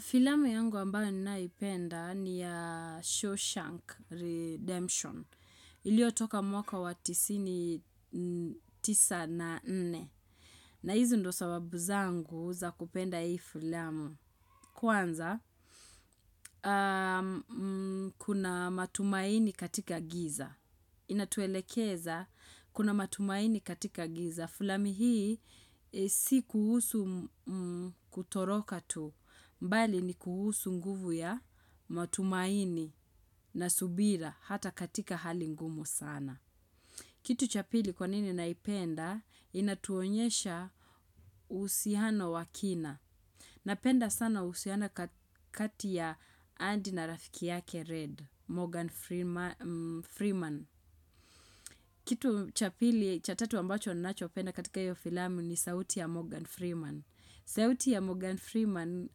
Filamu yangu ambayo ninayoipenda ni ya Shawshank Redemption. Ilio toka mwaka wa tisini tisa na nne. Na hizi ndio sababu zangu za kupenda hii filamu. Kwanza, kuna matumaini katika giza. Inatuelekeza, kuna matumaini katika giza. Filami hii si kuhusu kutoroka tu, bali ni kuhusu nguvu ya matumaini na subira hata katika hali ngumu sana. Kitu cha pili kwanini naipenda, inatuonyesha uhusiano wa kina. Napenda sana uhusiano kati ya Anndy na rafiki yake Red, Morgan Freeman. Kitu cha tatu ambacho ninachopenda katika hiyo filamu ni sauti ya Morgan Freeman. Sauti ya Morgan Freeman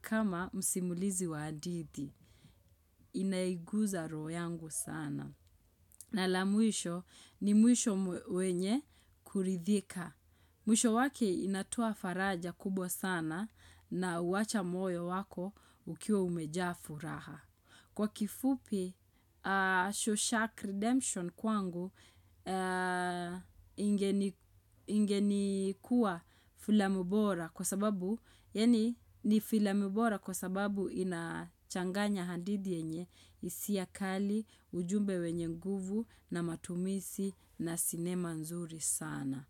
kama msimulizi wa hadithi inaiguza roho yangu sana. Na la mwisho ni mwisho wenye kuridhika. Mwisho wake inatoa faraja kubwa sana na huacha moyo wako ukiwa umejaa furaha. Kwa kifupi, Shawshark Redemption kwangu ingeni kuwa filamu bora kwa sababu inachanganya hadithi yenye hisia kali, ujumbe wenye nguvu na matumishi na sinema nzuri sana.